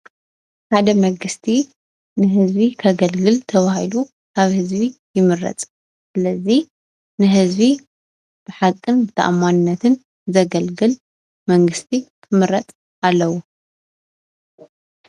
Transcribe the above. ሓደ መንግስቲ ንህዝቢ ከገልግል ተባሂሉ ካብ ህዝቢ ይምረፅ፡፡ ስለዚ ንህዝቢ ብሓቅን ብተኣማንነትን ዘገልግል መንግስቲ ክምረፅ ኣለዎ፡፡